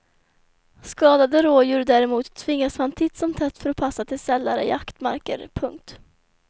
Skadade rådjur däremot tvingas man titt som tätt förpassa till sällare jaktmarker. punkt